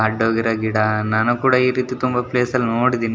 ಅಡ್ಡ ಹೋಗಿರೋ ಗಿಡ ನಾನು ಕೂಡ ಈ ರೀತಿ ತುಂಬಾ ಪ್ಲೇಸ್ ಅನ್ನು ನೋಡಿದೀನಿ.